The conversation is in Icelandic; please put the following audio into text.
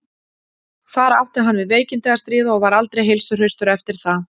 Þar átti hann við veikindi að stríða og var aldrei heilsuhraustur eftir það.